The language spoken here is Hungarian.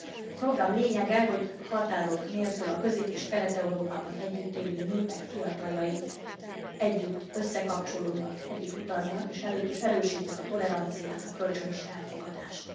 A program lényege, hogy határok nélkül a Közép és Kelet Európában együtt élő népek fiataljai együtt összekapcsolódnak, együtt utaznak és erősítik a toleranciát, a kölcsönös elfogadást.